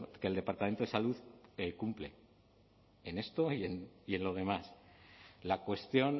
que el departamento de salud cumple en esto y en lo demás la cuestión